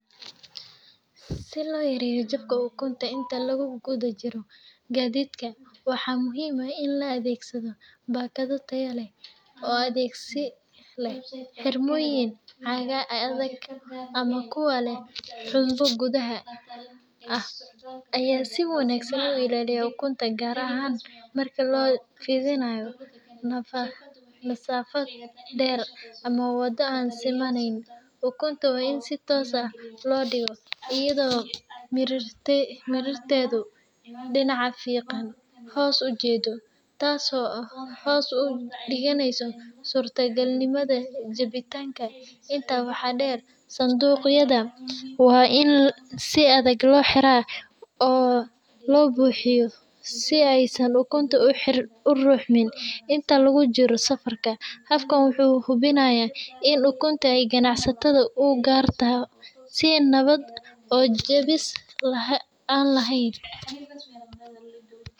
Si loo yareeyo jabka ukunta inta lagu gudajiro gaadiidka, waxaa muhiim ah in la adeegsado baakado tayo leh oo adkeysi leh. Xirmooyinka caagga adag ama kuwa leh xumbo gudaha ah ayaa si wanaagsan u ilaaliya ukunta, gaar ahaan marka la dhoofinayo masaafad dheer ama waddo aan simanayn. Ukunta waa in si toosan loo dhigaa, iyadoo mirirteedu dhinaca fiiqann hoos u jeeddo, taas oo hoos u dhigaysa suurtagalnimada jabitaanka. Intaa waxaa dheer, sanduuqyada waa in si adag loo xiraa oo loo buuxiyaa si aysan ukunta u ruxmin inta lagu jiro safarka. Habkan wuxuu hubinayaa in ukunta ay ganacsatada u gaarto si nabad ah oo jabis la’aan ah.